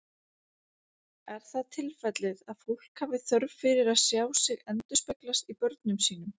Er það tilfellið að fólk hafi þörf fyrir að sjá sig endurspeglast í börnum sínum?